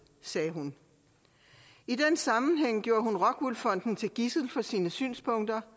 sagde hun i den sammenhæng tog hun rockwool fonden som gidsel for sine synspunkter